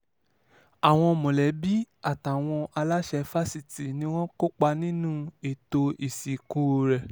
àwọn mọ̀lẹ́bí àtàwọn aláṣẹ fásitì ni wọ́n kópa níbi ètò ìsìnkú rẹ̀